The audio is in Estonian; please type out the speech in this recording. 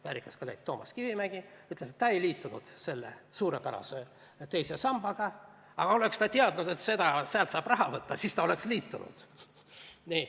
Väärikas kolleeg Toomas Kivimägi ütles, et ta ei liitunud selle suurepärase teise sambaga, aga oleks ta teadnud, et sealt saab raha välja võtta, siis ta oleks liitunud.